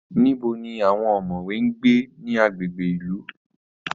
Níbo ni àwọn ọ̀mọ̀wé ń gbé ní agbègbè ìlú?